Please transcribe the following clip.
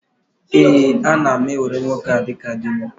Ee, ana m ewere nwoke a dịka di m.